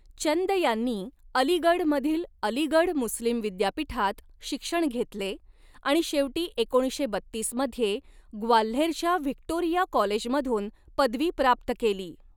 चंद यांनी अलीगढमधील अलीगढ मुस्लिम विद्यापीठात शिक्षण घेतले आणि शेवटी एकोणीसशे बत्तीस मध्ये ग्वाल्हेरच्या व्हिक्टोरिया कॉलेजमधून पदवी प्राप्त केली.